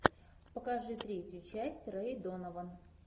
покажи третью часть рэй донован